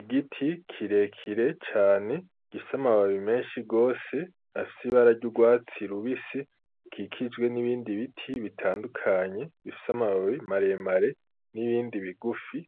Igiti kirekire cane gifise amababi menshi gose afise ibara ry'urwatsi rubisi kikijwe n'ibindi biti bitandukanye bifise amababi maremare n'ibindi bigufi